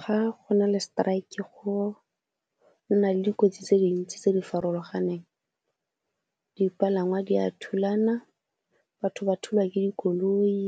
Ga go na le strike go nna le dikotsi tse dintsi tse di farologaneng, dipalangwa di a thulana, batho ba thulwa ke dikoloi,